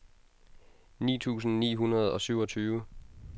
ni tusind ni hundrede og syvogtyve